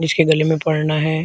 उसके गले में पढ़ना है।